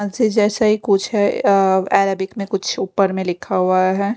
जैसा ही कुछ है अ अरेबिक में कुछ ऊपर में लिखा हुआ है।